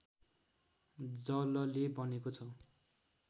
जलले बनेको छ